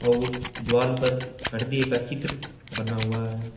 अउर द्वाल पर हृदय का चित्र बना हुआ है।